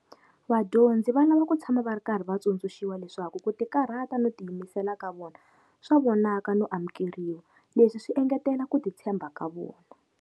Vadyondzi va lava ku tshama va ri karhi va tsundzuxiwa leswaku ku tikarhata no tiyimisela ka vona swa vonaka no amukeriwa, leswi swi engetela ku ti tshemba ka vona.